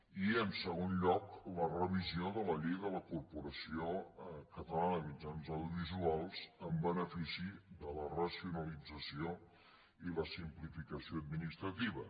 i en segon lloc la revisió de la llei de la corporació catalana de mitjans audiovisuals en benefici de la racionalització i la simplificació administrativa